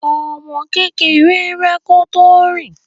Ọmọ kékeré ń rá kó tó rìn.